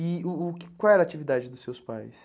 E uh uh qual era a atividade dos seus pais?